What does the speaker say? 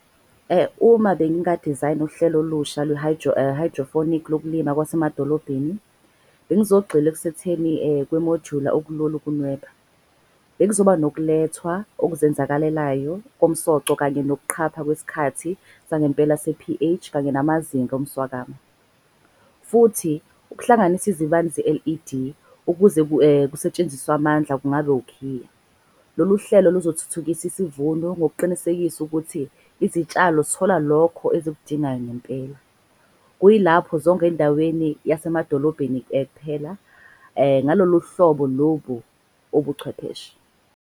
Uma benginga dizayina uhlelo olusha lwe hydroponic yokulima kwasemadolobheni. Bengizogxila ekusetheni kwemojula okulula ukunweba. Bekuzoba nokulethwa okuzenzakalelayo komsoco, kanye nokuqhapha kwesikhathi sangempela se-P_H. Kanye namazinga omswakamo. Futhi ukuhlanganisa ezibani ze-L_E_D ukuze kusetshenziswe amandla kungabe ukhiya. Lolu hlelo luzothuthukisa isivuno ngokuqinisekisa ukuthi izitshalo zithola lokho ezikudingayo ngempela. Kuyilapho zonke endaweni yasemadolobheni kuphela ngalolu hlobo lobu ubuchwepheshe.